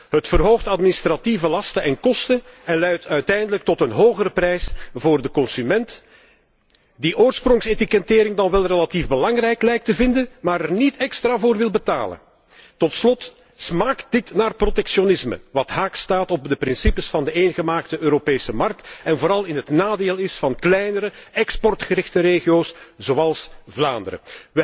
het verhoogt administratieve lasten en kosten en leidt uiteindelijk tot een hogere prijs voor de consument, die oorsprongsetikettering dan wel relatief belangrijk lijkt te vinden, maar er niet extra voor wil betalen tot slot smaakt dit naar protectionisme, wat haaks staat op de principes van de Europese interne markt en is het vooral in het nadeel van kleinere, exportgerichte regio's zoals Vlaanderen.